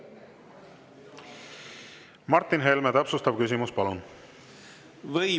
Martin Helme, täpsustav küsimus, palun!